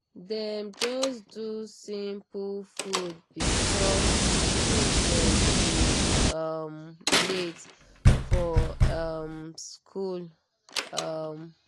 dem just do simple food because pikin dem dey um late for um school. um